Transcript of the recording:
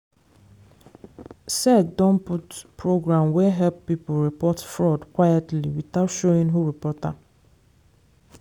sec don put program wey help people report fraud quietly without showing who report am.